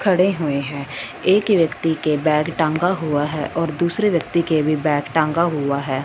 खड़े हुए हैं एक व्यक्ति के बैग टंगा हुआ है और दूसरे व्यक्ति के भीं बैग टंगा हुआ है।